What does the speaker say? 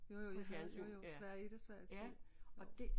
Jo jo jeg havde jo jo Sverige 1 og Sverige 2